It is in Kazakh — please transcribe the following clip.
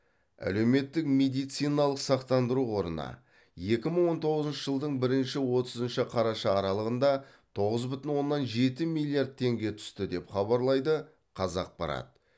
әлеуметтік медициналық сақтандыру қорына екі мың он тоғызыншы жылдың бірінші отызыншы қараша аралығында тоғыз бүтін оннан жеті миллиард теңге түсті деп хабарлайды қазақпарат